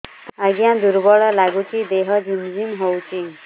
ଆଜ୍ଞା ଦୁର୍ବଳ ଲାଗୁଚି ଦେହ ଝିମଝିମ ହଉଛି